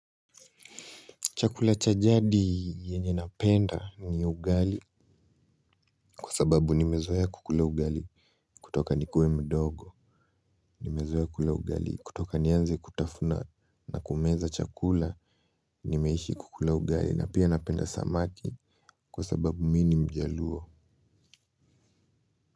Chakula chajadi yenye napenda ni ugali kwa sababu nimezoea kukula ugali kutoka nikue mdogo nimezoea kula ugali kutoka nianze kutafuna na kumeza chakula nimeishi kukula ugali na pia napenda samaki kwa sababu mini mjaluo.